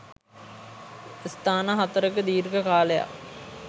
ස්ථාන හතරක දීර්ඝ කාලයක්